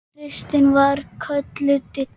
Kristín var kölluð Didda.